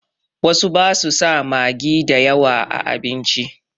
Wasu ba su sa magi da yawa a abinci.